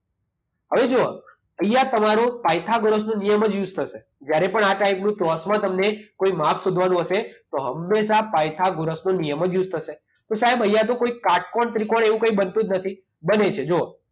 હવે જુઓ અહીંયા તમારો પાયથાગોરસનો નિયમ જ યુઝ થશે. જ્યારે પણ આ ટાઈપનું ક્રોસમાં તમને કોઈ માપ શોધવાનું હશે તો હંમેશા પાયથગોરસનો નિયમ જ યુઝ થશે. તો સાહેબ અહીંયા તો કોઈ કાટકોણ ત્રિકોણ એવું કંઈ બનતું જ નથી. બને છે જુઓ